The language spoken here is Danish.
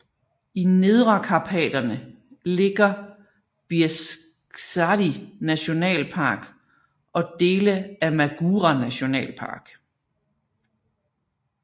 I Nedrekarpaterne ligger Bieszczady Nationalpark og dele af Magura Nationalpark